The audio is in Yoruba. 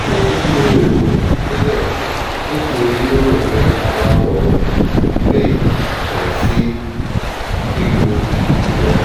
kò ní lo oògùn nílé nítorí ó rò pé ara òun le kò sì nílò wọn